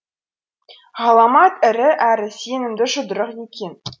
ғаламат ірі әрі сенімді жұдырық екен